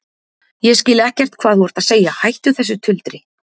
Ég skil ekkert hvað þú ert að segja, hættu þessu tuldri.